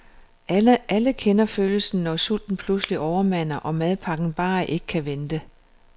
Alle kender følelsen, når sulten pludselig overmander, og madpakken bare ikke kan vente.